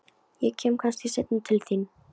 Ég kem kannski seinna til þín.